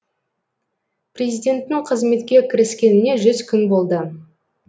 президенттің қызметке кіріскеніне жүз күн болды